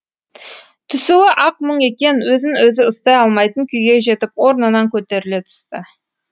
түсуі ақ мұң екен өзін өзі ұстай алмайтын күйге жетіп орнынан көтеріле түсті